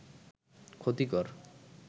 ক্ষতিকর